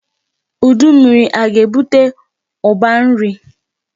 Udu mmiri aga-ebute ụba nri?